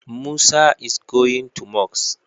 Musa is going to mosque.